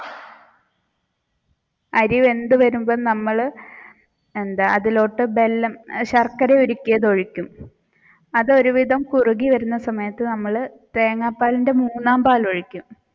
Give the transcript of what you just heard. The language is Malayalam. അറിവെന്തു വരുമ്പോൾ നമ്മൾ എന്താ അതിലോട്ട് ശർക്കര ഉരുക്കിയത് ഒഴിക്കും അതൊരുവിധം കുറുകി വരുന്ന സമയത്ത് തേങ്ങാപാലിന്റെ മൂന്നാം പാലൊഴിക്കും.